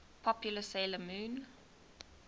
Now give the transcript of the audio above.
popular 'sailor moon